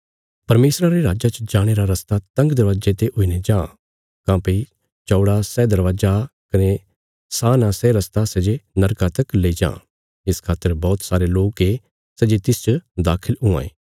परमेशरा रे राज्जा च जाणे रा रस्ता तंग दरवाजे ते हुईने जां काँह्भई चौड़ा सै दरवाजा कने सान आ सै रस्ता सै जे नरका तक लेई जां इस खातर बौहत सारे लोक ये सै जे तिसच दाखल हुआं ये